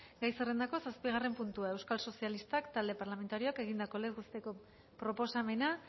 gai zerrendako zazpigarren puntua euskal sozialistak talde parlamentarioak egindako legez besteko proposamena